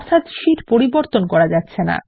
sheet পরিবর্তন করা যাচ্ছে না 160